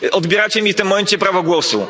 Odbieracie mi w tym momencie prawo głosu.